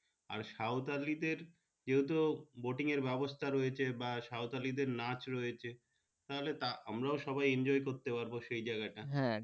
আর সাঁওতালি দেড় যেহেতু boating এর ব্যাবস্তা রয়েছে বা সাঁওতালি দেড় নাচ রয়েছে। তাহলে আমরা সবাই enjoy করতে হবে সেই জাগাটা।